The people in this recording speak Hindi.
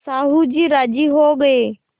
साहु जी राजी हो गये